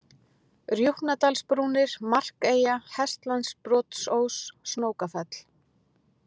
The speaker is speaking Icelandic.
Rjúpnadalsbrúnir, Markeyja, Hestlandbrotsós, Snókafell